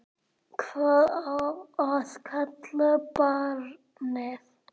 Hvað á að kalla barnið?